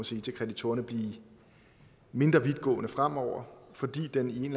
sige til kreditorerne blive mindre vidtgående fremover fordi den i en